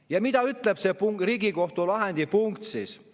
Ja mida siis ütleb see Riigikohtu lahendi punkt?